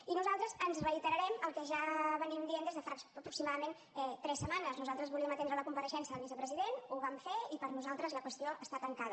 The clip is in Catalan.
i nosaltres ens reiterarem al que ja diem des de fa aproximadament tres setmanes nosaltres volíem atendre la compareixença del vicepresident ho vam fer i per nosaltres la qüestió està tancada